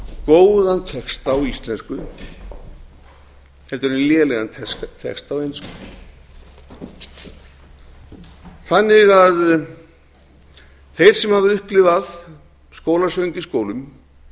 góðan texta á íslensku en lélegan texta á ensku þeir sem hafa upplifað skólasöng í skólum